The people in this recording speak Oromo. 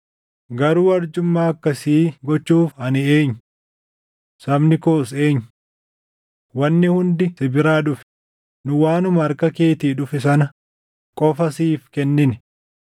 “Garuu arjummaa akkasii gochuuf ani eenyu? Sabni koos eenyu? Wanni hundi si biraa dhufe; nu waanuma harka keetii dhufe sana qofa siif kennine.